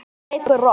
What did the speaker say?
Hún leikur rokk.